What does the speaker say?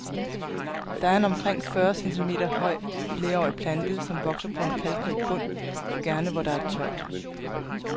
Det er en omkring fyrre centimeter høj, flerårig plante, som vokser på kalkrig bund, gerne hvor der er tørt.